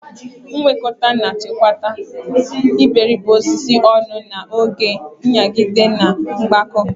Mwekota na-echekwa iberibe osisi ọnụ na oge nyagide na mgbakọ.